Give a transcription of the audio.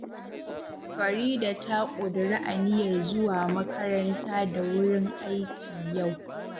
Farida ta ƙudiri aniyar zuwa makaranta da wurin aiki yau